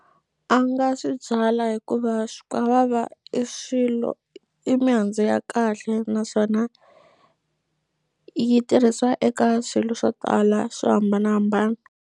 A nga swi byala hikuva swikwavava i swilo i mihandzu ya kahle naswona yi tirhisiwa eka swilo swo tala swo hambanahambana.